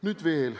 Nüüd veel.